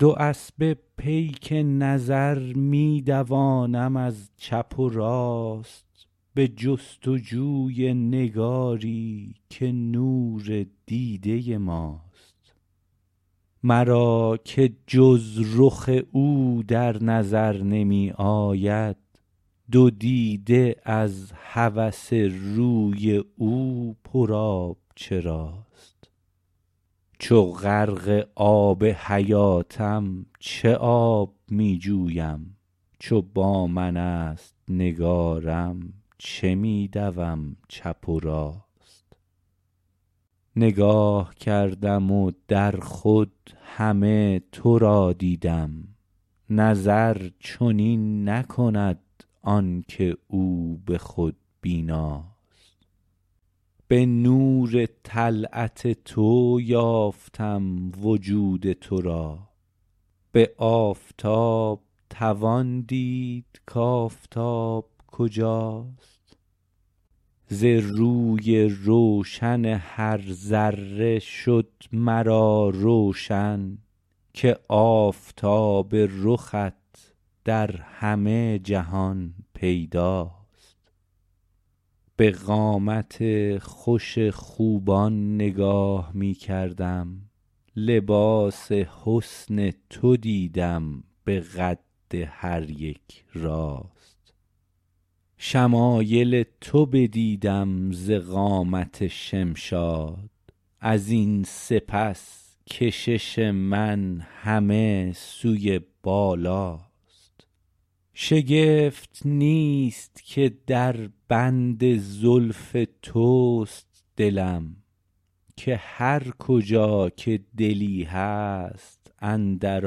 دو اسبه پیک نظر می دوانم از چپ و راست به جست و جوی نگاری که نور دیده ماست مرا که جز رخ او در نظر نمی آید دو دیده از هوس روی او پر آب چراست چو غرق آب حیاتم چه آب می جویم چو با من است نگارم چه می دوم چپ و راست نگاه کردم و در خود همه تو را دیدم نظر چنین نکند آن که او به خود بیناست به نور طلعت تو یافتم وجود تو را به آفتاب توان دید کآفتاب کجاست ز روی روشن هر ذره شد مرا روشن که آفتاب رخت در همه جهان پیداست به قامت خوش خوبان نگاه می کردم لباس حسن تو دیدم به قد هریک راست شمایل تو بدیدم ز قامت شمشاد ازین سپس کشش من همه سوی بالاست شگفت نیست که در بند زلف توست دلم که هرکجا که دلی هست اندر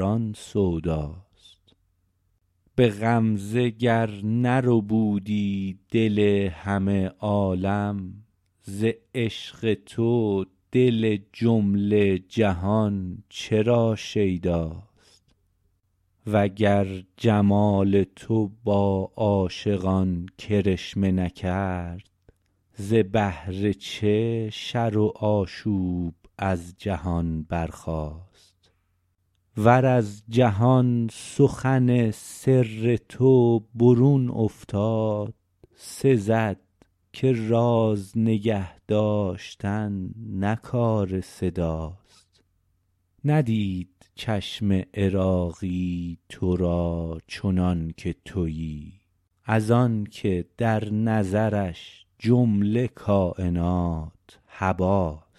آن سوداست به غمزه گر نربودی دل همه عالم ز عشق تو دل جمله جهان چرا شیداست وگر جمال تو با عاشقان کرشمه نکرد ز بهر چه شر و آشوب از جهان برخاست ور از جهان سخن سر تو برون افتاد سزد که راز نگه داشتن نه کار صداست ندید چشم عراقی تو را چنان که تویی از آن که در نظرش جمله کاینات هباست